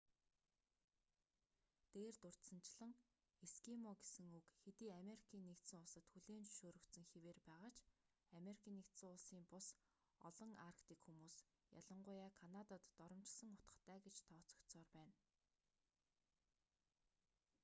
дээр дурдсанчлан эскимо гэсэн үг хэдий америкийн нэгдсэн улсад хүлээн зөвшөөрөгдсөн хэвээр байгаа ч ану-ын бус олон арктик хүмүүс ялангуяа канадад доромжилсон утгатай гэж тооцогдсоор байна